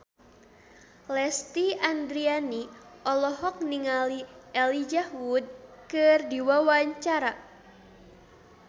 Lesti Andryani olohok ningali Elijah Wood keur diwawancara